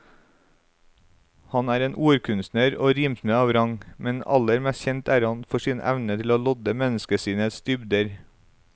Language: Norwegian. Han er en ordkunstner og rimsmed av rang, men aller mest kjent er han for sin evne til å lodde menneskesinnets dybder.